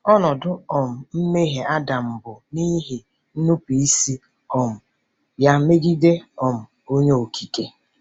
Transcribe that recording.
Ọnọdụ um mmehie Adam bụ n’ihi nnupụisi um ya megide um Onye Okike.